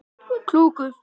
Klúku